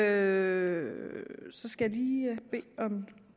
er i